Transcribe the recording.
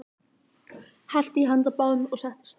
Hellti í handa báðum, settist og sagði: